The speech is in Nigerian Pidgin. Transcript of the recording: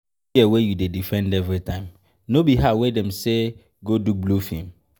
See the girl wey you dey defend everytime, no be her wey dem say go do blue film?